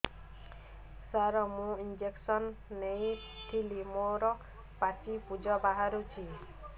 ସାର ମୁଁ ଇଂଜେକସନ ନେଇଥିଲି ମୋରୋ ପାଚି ପୂଜ ବାହାରୁଚି